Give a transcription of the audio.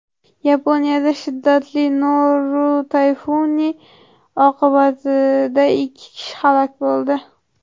Yaponiyada shiddatli Noru tayfuni oqibatida ikki kishi halok bo‘ldi.